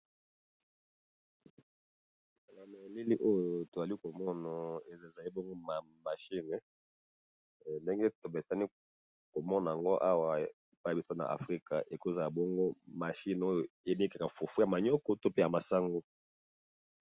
Na elili oyo to zali ko mono ezali bongo machine ndenge to mesana ko mona ngo awa epayi na biso na afrika, eko zala bongo machine oyo e nikaka fufu ya manioc to pe ya masango .